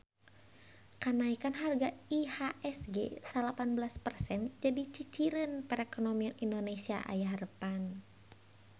Kanaekan harga IHSG salapan belas persen jadi ciciren perekonomian Indonesia aya harepan